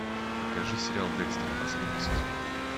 покажи сериал декстер последний сезон